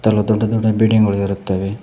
ಬಹಳ ದೊಡ್ಡ ದೊಡ್ಡ ಬಿಲ್ಡಿಂಗಳು ಇರುತ್ತವೆ.